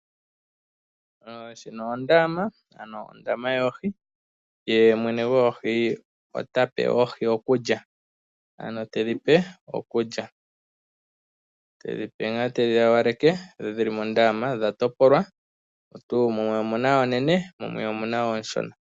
Ondama yoohi Mwene goohi ota pe oohi okulya. Te dhi hawaleke dhi li mondaama. Odha topolwa, mumwe omu na oonene mo mumwe omu na oonshona.